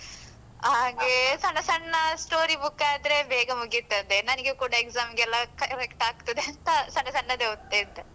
ಹಾಗೆ ಸಣ್ಣ ಸಣ್ಣ story book ಆದ್ರೆ ಬೇಗ ಮುಗಿತದೆ. ನನ್ಗೆ ಕೂಡ exam ಗೆಲ್ಲ correct ಆಗ್ತದಂತ ಸಣ್ಣ ಸಣ್ಣದೇ ಓದ್ತಾ ಇದ್ದೆ.